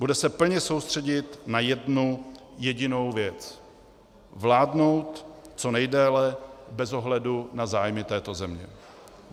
Bude se plně soustředit na jednu jedinou věc - vládnout co nejdéle bez ohledu na zájmy této země.